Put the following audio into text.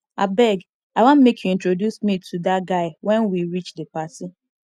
abeg i wan make you introduce me to dat guy wen we reach the party